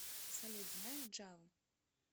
салют знаешь джаву